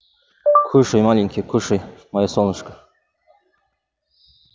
кушай маленький кушай моё солнышко